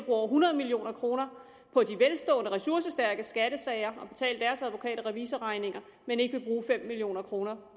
over hundrede million kroner på de velstående ressourcestærkes skattesager og betale deres advokat og revisorregninger men ikke vil bruge fem million kroner